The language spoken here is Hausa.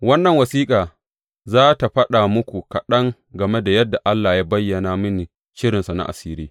Wannan wasiƙa za tă faɗa muku kaɗan game da yadda Allah ya bayyana mini shirinsa na asiri.